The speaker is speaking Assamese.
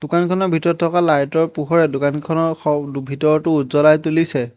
দোকানখনৰ ভিতৰত থকা লাইটৰ পোহৰে দোকানখনৰ স ভিতৰতো উজ্বলাই তুলিছে।